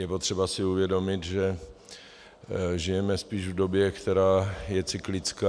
Je potřeba si uvědomit, že žijeme spíš v době, která je cyklická.